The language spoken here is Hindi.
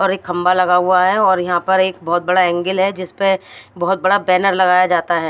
और एक खंबा लगा हुआ है और यहाँ पर एक बहुत बड़ा अँगल है जिसपे बहुत बड़ा बनर् लगाया जाता है।